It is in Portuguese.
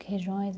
Que regiões?